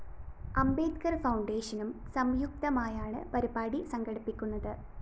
അംബേദ്കര്‍ ഫൗണ്ടേഷനും സംയുക്തമായാണ് പരിപാടികള്‍ സംഘടിപ്പിക്കുന്നത്